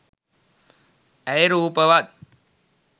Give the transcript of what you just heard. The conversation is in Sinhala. ඇය රූපවත්.